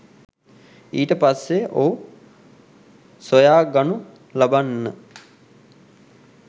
ඊට පස්සෙ ඔහු සොයාගනු ලබන්න